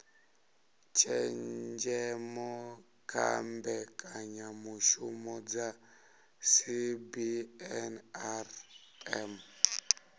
tshenzhemo kha mbekanyamishumo dza cbnrm